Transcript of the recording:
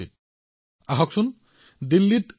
তেওঁলোকৰ অভিজ্ঞতাই আমাক বহুত কথা জানিবলৈ দিব